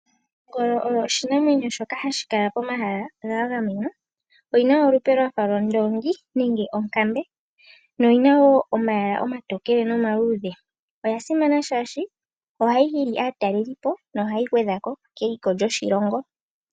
Ongolo oyo oshinamwenyo shoka hashi kala pomahala ga gamenwa. Oyina olupe lwafa lwondoongi, nenge onkambe. Oyina omayala omatokele nomaluudhe. Oya simana shaashi ohayi hili aatalelipo, nohayi gwedhako keliko lyoshilongo.